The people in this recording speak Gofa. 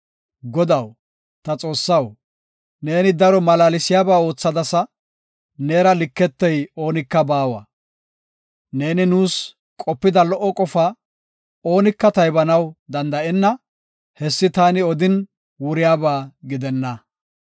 Godaw, ta Xoossaw, neeni daro malaalsiyaba oothadasa; neera liketey oonika baawa! Neeni nuus qopida lo77o qofaa, oonika taybanaw danda7onna; Hessi taani odin wuriyaba gidenna.